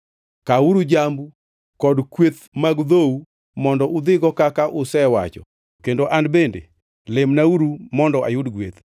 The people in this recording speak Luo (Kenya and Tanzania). Kawuru jambu kod kweth mag dhou mondo udhigo kaka usewacho kendo an bende lemnauru mondo ayud gweth.”